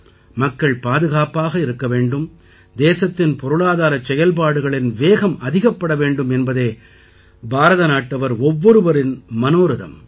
மக்கள் பாதுகாப்பாக இருக்க வேண்டும் தேசத்தின் பொருளாதாரச் செயல்பாடுகளின் வேகம் அதிகப்பட வேண்டும் என்பதே பாரதநாட்டவர் ஒவ்வொருவரின் மனோரதம்